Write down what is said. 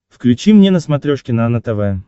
включи мне на смотрешке нано тв